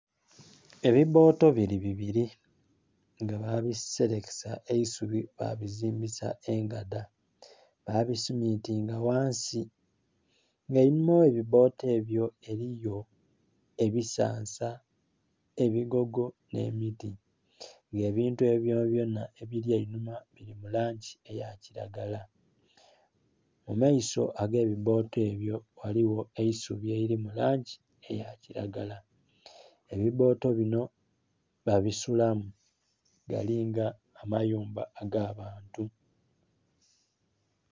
Ebibooto bili bibiri nga bakiserekesa eisubi ba bizimbisa engadha ba bisimintinga ghansi nga einhuma ghe bibooto ebyo eriyo ebisansa, ebigogo nhe miti, nga ebintu ebyo byona byona ebili einhuma bili mu langi eya kilagala. Mu maiso ge bibooto ebyo eriyo eisubi elili mu langi eya kilagala, ebi booto binho babisulamu balinga amayumba aga bantu.